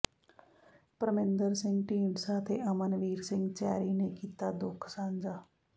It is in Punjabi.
ਪਰਮਿੰਦਰ ਸਿੰਘ ਢੀਂਡਸਾ ਤੇ ਅਮਨਵੀਰ ਸਿੰਘ ਚੈਰੀ ਨੇ ਕੀਤਾ ਦੁੱਖ ਸਾਂਝਾ